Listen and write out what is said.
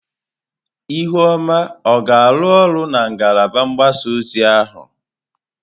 Ihuoma ọ ga-arụ ọrụ na ngalaba mgbasa ozi ọha?